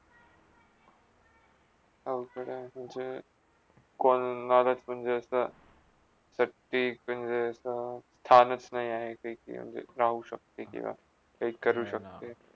! म्हणजे कुलनारे म्हणजे असा व्यक्ती म्हणजे असा थानच नाही आहे कि म्हणजे राऊ शकते किवा के काय करू शकते